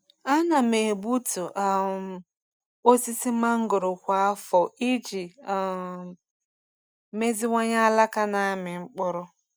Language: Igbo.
Ana m egbutu um osisi mangoro kwa afọ iji um meziwanye alaka na-amị mkpụrụ.